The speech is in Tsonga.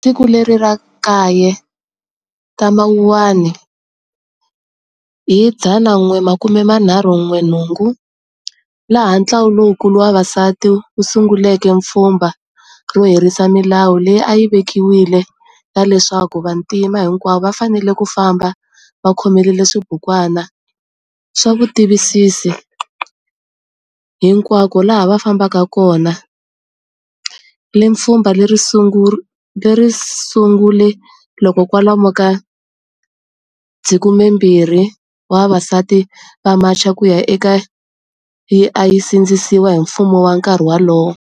Hi siku leri ra 9 ta Mawuwani hi 1956 laha ntlawa lowukulu wa vavasati wusunguleke pfhumba ro herisa milawu leyi ayi vekiwile ya leswaku vantima hinkwavo va fanele ku famba va khomelele swibukwana swa vutitivisi hinkwako laha va fambaka kona, le Pfhumba leri risungule loko kwalomu ka 20,000 wa vavasati va macha kuya eka yi ayi sindzisiwa hi mfumo wa nkarhi walowo.